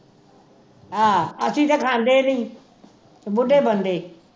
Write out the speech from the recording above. ਆਹ ਅਸੀ ਤਾਂ ਖਾਂਦੇ ਨੇ ਬੁੱਢੇ ਬੰਦੇ